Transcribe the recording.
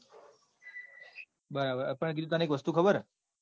બરાબર પણ બીજું તન એક વસ્તુ ખબર હ.